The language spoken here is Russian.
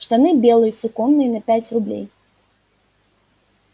штаны белые суконные на пять рублей